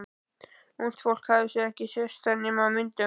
Ungt fólk hafði ekki sést þar nema á myndum.